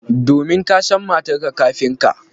Domin ka san matarka kafin ka.